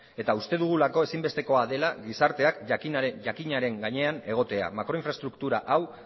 eta uste dugulako ezinbestekoa dela gizarteak jakinaren gainean egotea makroinfraestruktura hau